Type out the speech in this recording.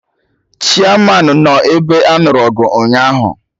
Chiamanụ nọ ebe anụrụ ọgụ ụnyaahụ